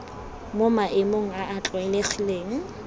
mo maemong a a tlwaelegileng